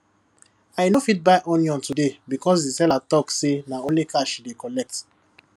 i no fit buy onion today because the seller talk say na only cash she dey collect